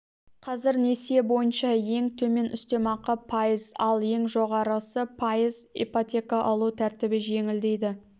қазір несие бойынша ең төмен үстем ақы пайыз ал ең жоғарысы пайыз ипотека алу тәртібі жеңілдейді